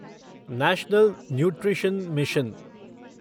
national nutrition mission